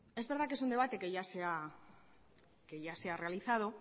es verdad que es un debate que ya se ha realizado